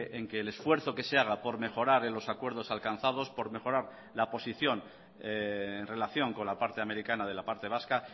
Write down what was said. en que el esfuerzo que se haga por mejorar en los acuerdos alcanzados por mejorar la posición en relación con la parte americana de la parte vasca